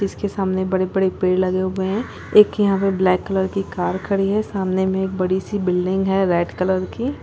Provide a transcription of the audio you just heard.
--जिसके सामने बड़े बड़े पेड़ लगे हुए है एक यहाँ पर ब्लैक कलर की कार खड़ी है सामने मे एक बड़ी सी बिल्डिंग है रेड कलर की--